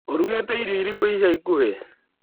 ũrũgĩte irio irĩkũ ica ikuhĩ?